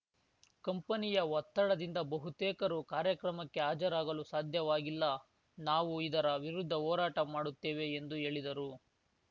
ಕಂಪನಿಯ ಒತ್ತಡದಿಂದ ಬಹುತೇಕರು ಕಾರ್ಯಕ್ರಮಕ್ಕೆ ಹಾಜರಾಗಲು ಸಾಧ್ಯವಾಗಿಲ್ಲ ನಾವು ಇದರ ವಿರುದ್ಧ ಹೋರಾಟ ಮಾಡುತ್ತೇವೆ ಎಂದು ಹೇಳಿದರು